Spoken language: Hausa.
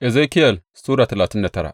Ezekiyel Sura talatin da tara